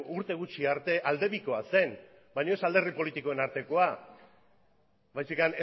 urte gutxi arte alde bikoa zen baina ez alderdi politikoen artekoa baizik